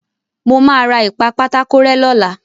Mo máa ra ìpa-pátákó-rẹ́ lọ́la.